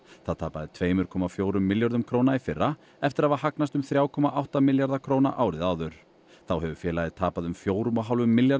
það tapaði tveimur komma fjögur milljörðum króna í fyrra eftir að hafa hagnast um þrjá komma átta milljarða króna árið áður þá hefur félagið tapað um fjórum og hálfum milljarði